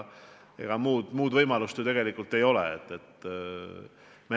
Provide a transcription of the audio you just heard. Ega muud võimalust ju tegelikult ei ole.